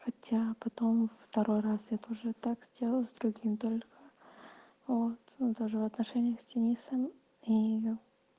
хотя потом второй раз я тоже так сделал с другим только вот даже в отношениях с денисом и